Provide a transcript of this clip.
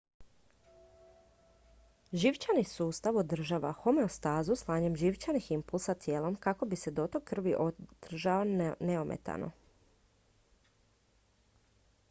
živčani sustav održava homeostazu slanjem živčanih impulsa tijelom kako bi se dotok krvi održao neometano